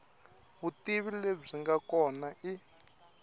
vutivi lebyi nga kona i